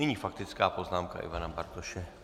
Nyní faktická poznámka Ivana Bartoše.